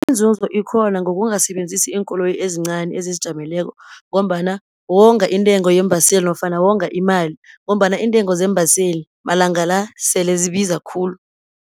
Iinzuzo ikhona ngokungasebenzisi iinkoloyi ezincani ezizijameleko, ngombana wonga intengo yeembaseli, nofana wonga imali, ngombana iintengo zeembaseli malanga la, selezibiza khulu.